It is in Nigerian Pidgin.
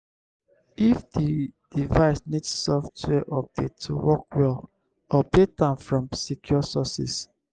if di device need software update to work well update am from secure sources